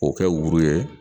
O kɛ wuri ye